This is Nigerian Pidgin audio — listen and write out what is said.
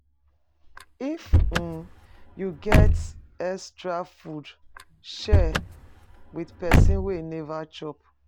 If um you get extra food, share with person wey e neva chop.